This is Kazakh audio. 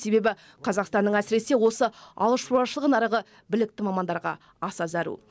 себебі қазақстанның әсіресе осы ауылшаруашылық нарығы білікті мамандарға аса зәру